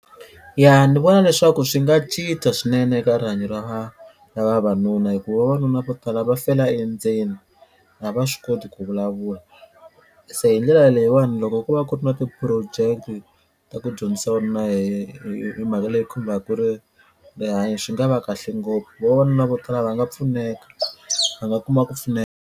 Ya ni vona leswaku swi nga cinca swinene eka rihanyo ra ra vavanuna hi ku vavanuna vo tala va fela endzeni a va swi koti ku vulavula se hi ndlela leyiwani loko ko va ku ri na ti-project ta ku dyondzisa vavanuna hi hi mhaka leyi khumbaku ri rihanyo swi nga va kahle ngopfu vavanuna vo tala va nga pfuneka va nga kuma ku pfuneka.